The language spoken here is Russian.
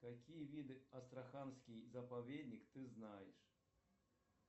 какие виды астраханский заповедник ты знаешь